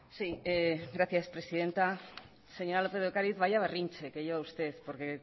sí gracias presidenta señora lópez de ocariz vaya berrinche que lleva usted porque